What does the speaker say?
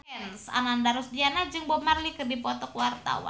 Ananda Rusdiana jeung Bob Marley keur dipoto ku wartawan